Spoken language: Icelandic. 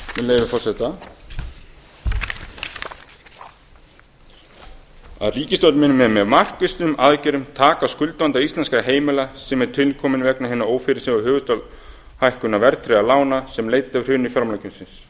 með leyfi forseta að ríkisstjórnin muni með mjög markvissum aðgerðum taka á skuldavanda íslenskra heimila sem er tilkominn vegna hinnar ófyrirsjáanlegu höfuðstólshækkunar verðtryggðra lána sem leiddi af hruni fjármálakerfisins